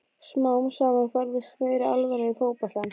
Smám saman færðist meiri alvara í fótboltann.